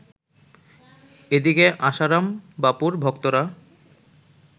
এদিকে আশারাম বাপুর ভক্তরা